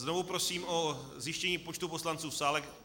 Znovu prosím o zjištění počtu poslanců v sále.